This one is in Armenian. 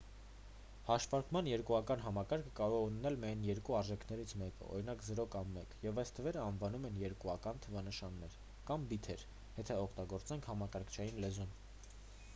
հաշվարկման երկուական համակարգը կարող է ունենալ միայն երկու արժեքներից մեկը օրինակ 0 կամ 1 և այս թվերն անվանում են երկուական թվանշաններ կամ բիթեր եթե օգտագործենք համակարգչային լեզուն